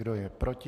Kdo je proti?